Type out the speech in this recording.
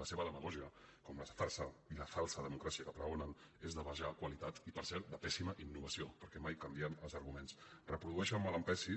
la seva demagògia com la farsa i la falsa democràcia que pregonen és de baixa qualitat i per cert de pèssima innovació perquè mai canvien els arguments reprodueixen mal que em pesi